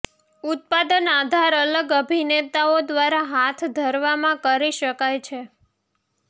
ઉત્પાદન આધાર અલગ અભિનેતાઓ દ્વારા હાથ ધરવામાં કરી શકાય છે